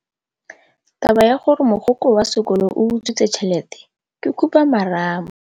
Taba ya gore mogokgo wa sekolo o utswitse tšhelete ke khupamarama.